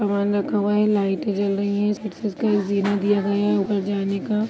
सामान रखा हुआ है लाईटे जल रही हैं जीना दिया गया ऊपर जाने का।